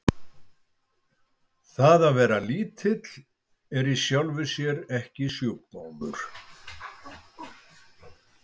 Það að vera lítill er í sjálfu sér ekki sjúkdómur.